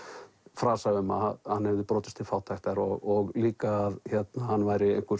frasa að hann hefði brotist til fátæktar og líka að hann væri einhver